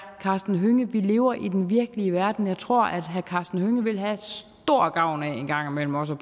karsten hønge vi lever i den virkelige verden og jeg tror herre karsten hønge ville have stor gavn af en gang imellem også